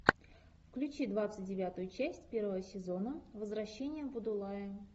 включи двадцать девятую часть первого сезона возвращение будулая